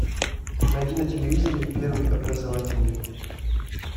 найди на телевизоре первый образовательный